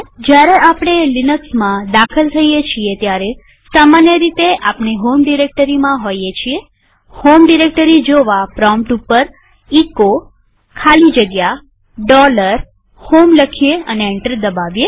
જયારે આપણે લિનક્સમાં દાખલ થઇએ છીએ ત્યારે સામાન્ય રીતે આપણે હોમ ડિરેક્ટરીમાં હોઈએ છીએહોમ ડિરેક્ટરી જોવા પ્રોમ્પ્ટ ઉપર એચો ખાલી જગ્યા HOME લખીએ અને એન્ટર દબાવીએ